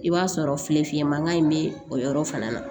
I b'a sɔrɔ filefinman in bɛ o yɔrɔ fana na